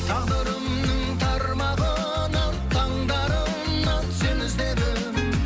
тағдырымның тармағынан таңдарынан сені іздедім